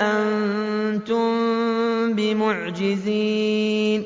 أَنتُم بِمُعْجِزِينَ